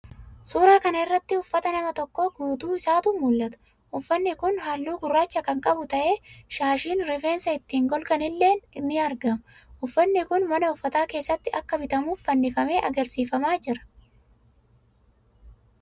Suuraa kana irratti uffata nama tokkoo guutuu isaatu mul'ata. Uffatni kun halluu gurraacha kan qabu ta'ee, shaashiin rifeensa ittiin golgan illee ni argama. Uffatni kun mana uffataa keessatti akka bitamuuf fannifamee agarsiifamaa jira.